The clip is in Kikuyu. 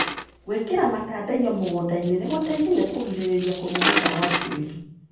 Gwĩkĩra matandaiyo mũgundainĩ nĩgũteithagia kũrigĩrĩria kũmomoka gwa tĩri.